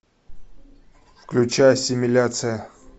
включай ассимиляция